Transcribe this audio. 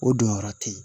O jɔyɔrɔ te yen